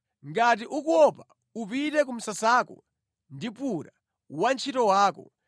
Ngati ukuopa, upite ku msasako ndi Pura wantchito wako,